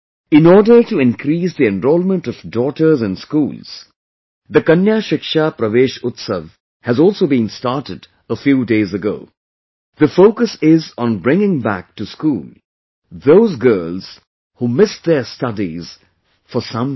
In order to increase the enrollment of daughters in schools, the Kanya Shiksha Pravesh Utsav has also been started a few days ago... the focus is on bringing back to school those girls who missed their studies for some reason